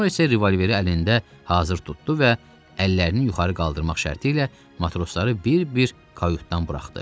Sonra isə revolveri əlində hazır tutdu və əllərini yuxarı qaldırmaq şərti ilə matrosları bir-bir kautdan buraxdı.